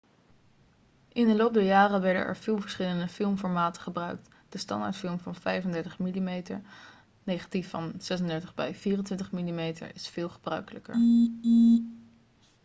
in de loop der jaren werden er veel verschillende filmformaten gebruikt. de standaardfilm van 35 mm negatief van 36 bij 24 mm is veel gebruikelijker